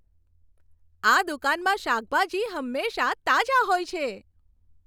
આ દુકાનમાં શાકભાજી હંમેશા તાજા હોય છે.